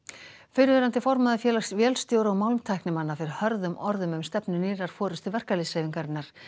fyrrverandi formaður Félags vélstjóra og málmtæknimanna fer hörðum orðum um stefnu nýrrar forystu verkalýðshreyfingarinnar